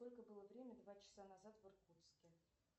сколько было время два часа назад в иркутске